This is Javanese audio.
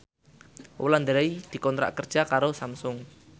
Wulandari dikontrak kerja karo Samsung